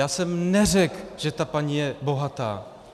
Já jsem neřekl, že ta paní je bohatá.